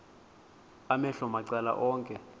amehlo macala onke